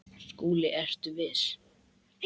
SKÚLI: Ertu viss?